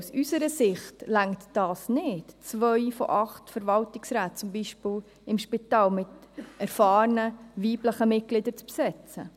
Aus unserer Sicht seitens der EVP reicht dies nicht, zwei von acht Verwaltungsräten, zum Beispiel im Spital, mit erfahrenen weiblichen Mitgliedern zu besetzen.